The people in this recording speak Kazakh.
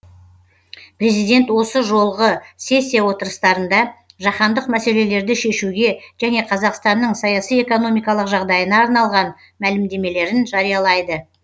президент осы жолғы сессия отырыстарында жаһандық мәселелерді шешуге және қазақстанның саяси экономикалық жағдайына арналған мәлімдемелерін жариялайды